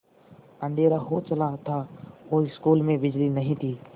अँधेरा हो चला था और स्कूल में बिजली नहीं थी